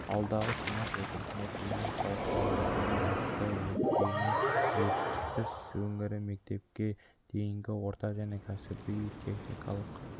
алдағы сенат отырысында кеңінен талқылайтындарын айтты өйткені ертіс өңірі мектепке дейінгі орта және кәсіби техникалық